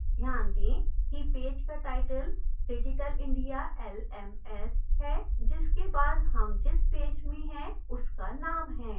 ध्यान दें कि पेज का टाइटल digital india lms है जिसके बाद हम जिस पेज में हैं उसका name है